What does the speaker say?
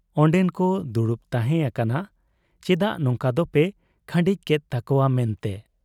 ᱚᱱᱰᱮᱱᱠᱚ ᱫᱩᱲᱩᱵ ᱛᱟᱦᱮᱸ ᱟᱠᱟᱱᱟ ᱪᱮᱫᱟᱜ ᱱᱚᱝᱠᱟ ᱫᱚᱯᱮ ᱠᱷᱟᱺᱰᱤᱡ ᱠᱮᱫ ᱛᱟᱠᱚᱣᱟ ᱢᱮᱱᱛᱮ ᱾